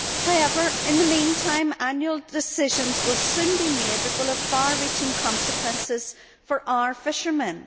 However, in the meantime, annual decisions will soon be made that will have far reaching consequences for our fishermen.